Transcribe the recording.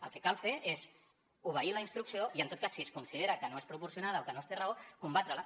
el que cal fer és obeir la instrucció i en tot cas si es considera que no és proporcionada o que no es té raó combatre la